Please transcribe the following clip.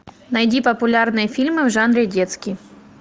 найди популярные фильмы в жанре детский